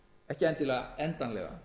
ekki kannski endanlega